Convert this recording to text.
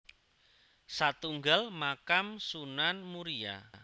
Satunggal Makam Sunan Muria